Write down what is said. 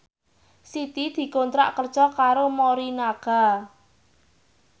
Siti dikontrak kerja karo Morinaga